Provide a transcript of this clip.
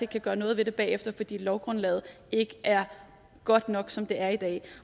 kan gøre noget ved det bagefter fordi lovgrundlaget ikke er godt nok som det er i dag